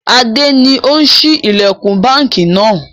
Adé ni ó ṣí ilẹkun báńkì náà.